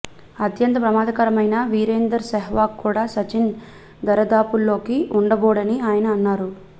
అత్యంత ప్రమాదకరమైన వీరేందర్ సెహ్వాగ్ కూడా సచిన్ దరిదాపుల్లో ఉండబోడని ఆయన అన్నారు